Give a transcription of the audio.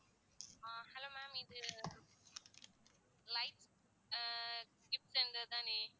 hello ma'am இது life அஹ் தானே